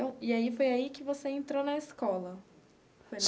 E aí foi aí que você entrou na escola?